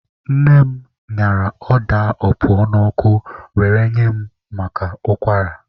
Nne m ñara ọda opuo n'ọkụ were nye mụ maka ụkwara.